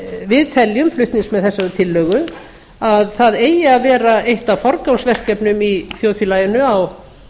við teljum flutningsmenn þessarar tillögu að það eigi að vera eitt af forgangsverkefnum í þjóðfélaginu á